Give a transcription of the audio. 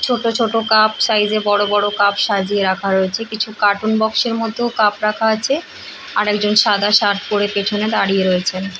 ছোট ছোট cup size - এ বড় বড় কাপ সাজিয়ে রাখা রয়েছে কিছু কার্টুন বক্স - এর মধ্যেও কাপ রাখা আছে আরেকজন সাদা শার্ট পরে পেছনে দাঁড়িয়ে রয়েছেন ।